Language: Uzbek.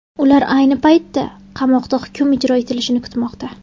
Ular ayni paytda qamoqda hukm ijro etilishini kutmoqda.